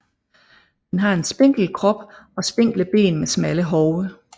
Den har en spinkel krop og spinkle ben med smalle hove